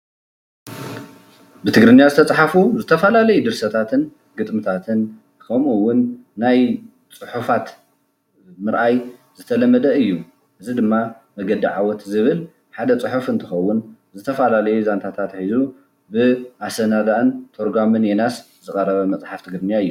ብትግርኛ ዝተፃሓፉ ዝተፋላለዩ ድርሰታትን ግጥምታትን ከምኡ እዉን ናይ ፅሑፋት ምርኣይ ዝተለመደ እዩ፡፡ እዚ ድማ መንገዲ ዓወት ዝብል ሓደ ፅሑፍ እንትከዉን ዝተፋላለዩ ዛንታት ሒዞም ብኣሳናዳእን ተርጓሚን ዮናስ ዝቀረበ መፅሓፍ ትግርኛ እዩ፡፡